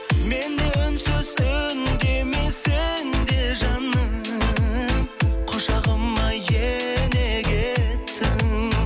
мен де үнсіз үндемей сен де жаным құшағыма ене кеттің